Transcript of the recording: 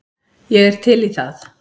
Ég er til í það.